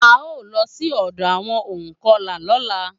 A o lọ sí ọ̀dọ àwọn ònkọlà lọ́la